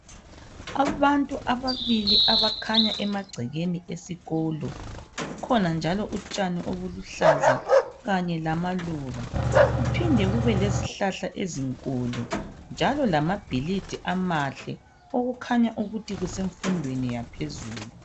Abantu ababili abakhanya emagcekeni esikolo. Kukhona njalo utshani obuluhlaza kanye lamaluba kuphinde kube lezihlahla ezinkulu njalo lezakhiwo ezinhle okukhanya ukuthi kusemfundweni yaphezulu.